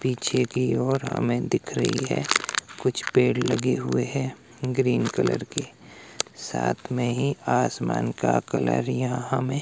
पीछे की ओर हमें दिख रही है कुछ पेड़ लगे हुए हैं ग्रीन कलर के साथ में ही आसमान का कलर यहां हमें--